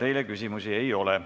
Ka teile küsimusi ei ole.